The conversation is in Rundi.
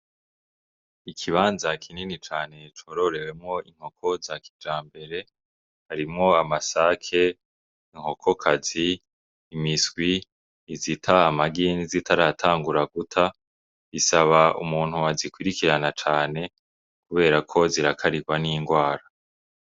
Ikibanza kinini cane cororewemwo inkoko za kijambere harimwo amasake, inkoko kazi ,imiswi izita amagi nizitaratangura guta bisaba umuntu azikurikirana cane kuberako zirakarigwa n'ingwara.